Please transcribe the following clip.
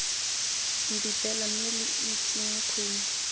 mpipela mme lo itseng khumo